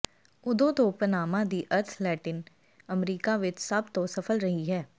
ਉਦੋਂ ਤੋਂ ਪਨਾਮਾ ਦੀ ਅਰਥ ਲੈਟਿਨ ਅਮਰੀਕਾ ਵਿਚ ਸਭ ਤੋਂ ਸਫਲ ਰਹੀ ਹੈ